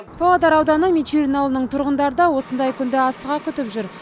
павлодар ауданы мичурин ауылының тұрғындары да осындай күнді асыға күтіп жүр